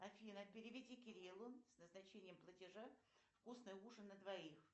афина переведи кириллу с назначением платежа вкусный ужин на двоих